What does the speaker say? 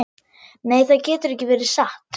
Nei, það getur ekki verið satt.